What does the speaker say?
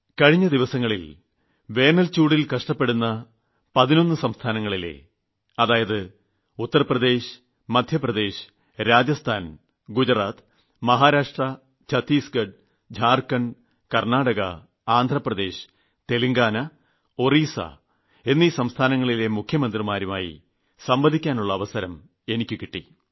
കഴിഞ്ഞ ദിവസങ്ങളിൽ വേനൽച്ചൂടിൽ കഷ്ടപ്പെടുന്ന 11 സംസ്ഥാനങ്ങളായ ഉത്തർപ്രദേശ് രാജസ്ഥാൻ ഗുജറാത്ത് മഹാരാഷ്ട്ര ഛത്തീസ്ഗഢ് ജാർഖണ്ഡ് കർണ്ണാടക ആന്ധ്രാപ്രദേശ് തെലുങ്കാന ഒഡീഷ എിവിടങ്ങളിലെ മുഖ്യമന്ത്രിമാരുമായി സംവദിക്കാനുള്ള അവസരം എനിയ്ക്ക് കിട്ടി